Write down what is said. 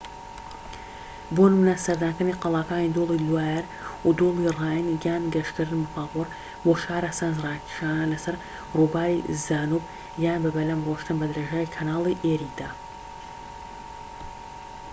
بۆ نمونە سەردانکردنی قەڵاکانی دۆڵی لوایەر و دۆڵی ڕاین یان گەشتکردن بە پاپۆر بۆ شارە سەرنجڕاکێشەکان لەسەر ڕووباری دانوب یان بە بەلەم ڕۆشتن بە درێژایی کەناڵی ئێریدا